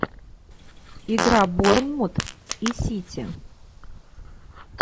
игра борнмут и сити